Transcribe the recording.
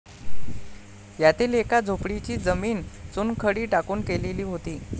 यातील एका झोपडीची जमीन चुनखडी टाकून केलेली होती.